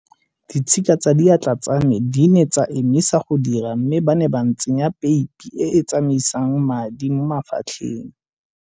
Ditshika tsa diatla tsa me di ne tsa emisa go dira mme ba ne ba ntsenya peipi e e tsamaisang madi mo mafatlheng.